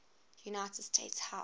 united states house